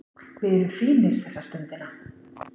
Við erum fínir þessa stundina